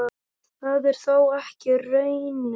Það er þó ekki raunin.